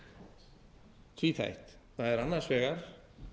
grunnverkefnið tvíþætt það er annars vegar